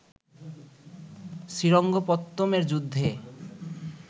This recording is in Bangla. শ্রীরঙ্গপত্তমের যুদ্ধে